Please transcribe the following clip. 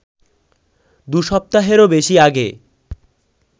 দুসপ্তাহেরও বেশি আগে